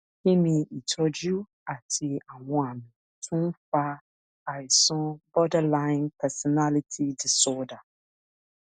kí ni ìtọjú àti àwọn àmì tó ń fa àìsàn borderline personality disorder